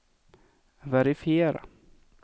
verifiera